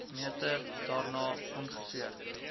meter daarna ongeveer